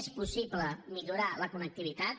és possible millorar la connectivitat